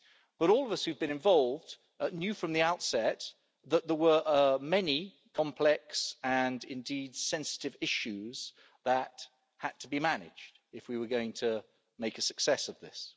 But all of us who have been involved knew from the outset that there were many complex and, indeed, sensitive issues that had to be managed if we were going to make a success of this.